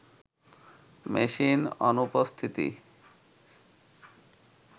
মেসির অনুপস্থিতি